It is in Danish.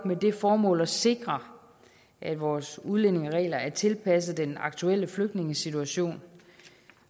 det formål at sikre at vores udlændingeregler er tilpasset den aktuelle flygtningesituation